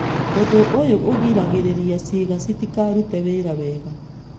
Ũndũ ũyũ ũgiragĩrĩria ciĩga citikarute wĩra wega.